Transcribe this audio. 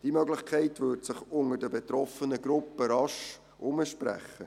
Diese Möglichkeit würde sich unter den betroffenen Gruppen rasch herumsprechen.